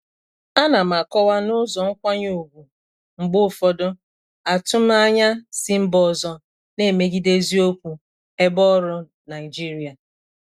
Ana m akọwa n'ụzọ nkwanye ùgwù mgbe ụfọdụ atụmanya si mba ọzọ na-emegide eziokwu ebe ọrụ Naịjirịa.